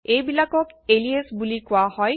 এইবিলাকক এলিয়াচ বুলি কোৱা হয়